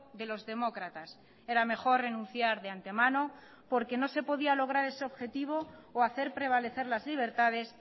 de los demócratas era mejor renunciar de antemano porque no se podía lograr ese objetivo o hacer prevalecer las libertades